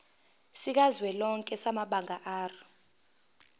sikazwelonke samabanga r